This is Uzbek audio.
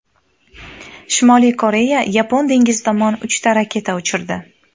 Shimoliy Koreya Yapon dengizi tomon uchta raketa uchirdi.